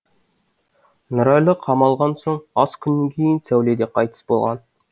нұрәлі қамалған соң аз күннен кейін сәуле де қайтыс болған